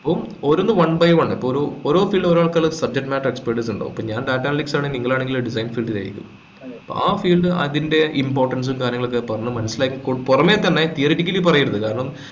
അപ്പൊ ഓരോന്ന് one by one ഇപ്പൊ ഒരു ഓരോ field ഓരോ ആള്ക്കാര് subject matter experts ഇണ്ടാവും ഇപ്പൊ ഞാൻ data analytics ആണെങ്കിൽ നിങ്ങളാണെങ്കിൽ design field ലായിരിക്കും അപ്പൊ അഹ് field അതിന്റെ importance ഉം കാര്യങ്ങളും ഒക്കെ പറഞ്ഞ മനസിലാക്കി കൊടുക്ക പൊറമെ തന്നെ theoretically പറയരുത് കാരണം